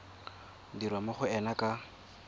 dirwa mo go ena ka